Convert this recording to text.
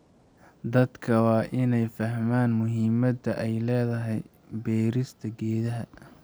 Dadka waa in ay fahmaan muhiimadda ay leedahay beerista geedaha.